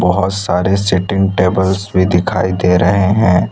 बहुत सारे seating tables भी दिखाई दे रहे हैं।